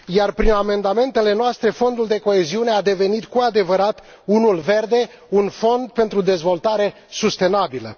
Prin amendamentele noastre, Fondul de coeziune a devenit cu adevărat unul verde, un fond pentru dezvoltare sustenabilă.